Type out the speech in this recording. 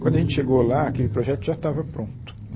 Quando a gente chegou lá, aquele projeto já estava pronto.